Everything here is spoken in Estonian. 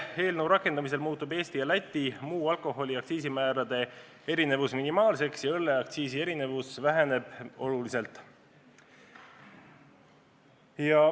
Seaduse rakendamisel muutub Eesti ja Läti muu alkoholi aktsiisi määrade erinevus minimaalseks ja õlleaktsiisi erinevus väheneb tunduvalt.